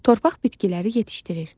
Torpaq bitkiləri yetişdirir.